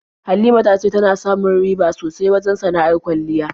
Halima ta ce tana samu riba sosai wajen sana'ar kwalliya.